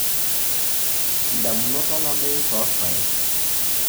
idamunot olameyu toorpaek(Zea mays L.)